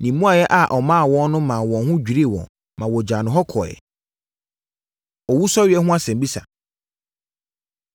Ne mmuaeɛ a ɔmaa wɔn no maa wɔn ho dwirii wɔn ma wɔgyaa no hɔ kɔeɛ. Owusɔreɛ Ho Asɛmmisa